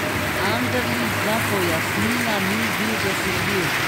Anderlič za pojasnila ni bil dosegljiv.